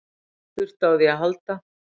Þurfti á því að halda?